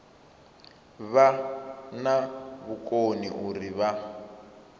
vha na vhukoni uri vha